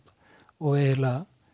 og eiginlega